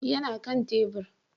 yana Kan tebur